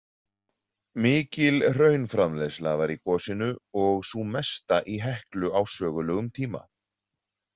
Mikil hraunframleiðsla var í gosinu og sú mesta í Heklu á sögulegum tíma.